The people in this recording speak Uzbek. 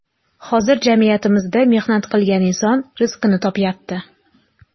Hozir jamiyatimizda mehnat qilgan inson rizqini topyapti.